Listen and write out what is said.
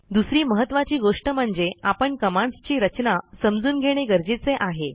दुसरी महत्त्वाची गोष्ट म्हणजे आपण कमांडस् ची रचना समजून घेणे गरजेचे आहे